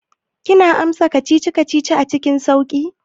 Kina amsa kacici-kacici cikin sauƙi?